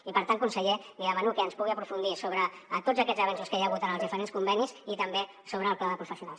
i per tant conseller li demano que ens pugui aprofundir sobre tots aquests avenços que hi ha hagut en els diferents convenis i també sobre el pla de professionals